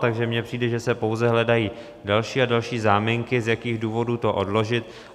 Takže mně přijde, že se pouze hledají další a další záminky, z jakých důvodů to odložit.